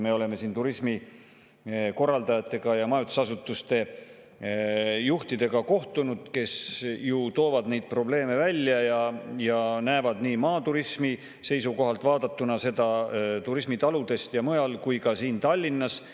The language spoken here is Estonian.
Me oleme siin ju kohtunud turismikorraldajatega ja majutusasutuste juhtidega, kes toovad neid probleeme välja ja näevad neid nii maaturismi seisukohalt vaadatuna – turismitaludest ja mujal – kui ka Tallinnas.